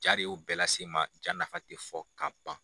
Ja de y'o bɛɛ lase n ma ja nafa te fɔ ka ban.